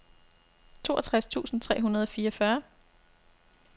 toogtres tusind tre hundrede og fireogfyrre